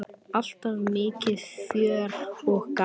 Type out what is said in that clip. Alltaf mikið fjör og gaman.